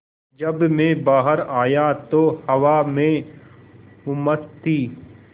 जब मैं बाहर आया तो हवा में उमस थी